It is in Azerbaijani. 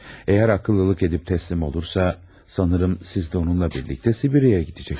Əgər ağıllılıq edib təslim olursa, sanırım siz də onunla birlikdə Sibiriyaya gedəcəksiniz.